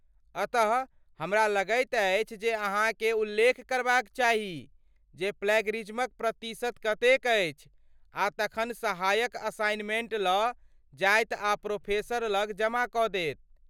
अतः, हमरा लगैत अछि जे अहाँकेँ उल्लेख करबाक चाही जे प्लैगियरिज्मक प्रतिशत कतेक अछि आ तखन सहायक असाइनमेंट लऽ जायत आ प्रोफेसर लग जमा कऽ देत।